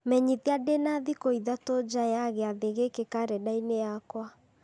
menyithia ndĩna thikũ ithatũ nja ya gĩathĩ gĩkĩ karenda-inĩ yakwa